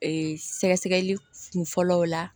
Ee sɛgɛsɛgɛli kun fɔlɔw la